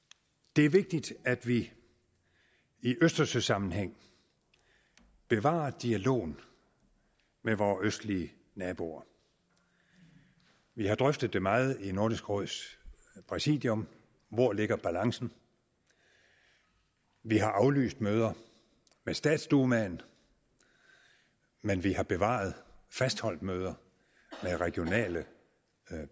det er vigtigt at vi i østersøsammenhæng bevarer dialogen med vore østlige naboer vi har drøftet det meget i nordisk råds præsidium hvor ligger balancen vi har aflyst møder med statsdumaen men vi har bevaret fastholdt møder med regionale